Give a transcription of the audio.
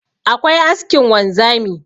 akwai askin wanzami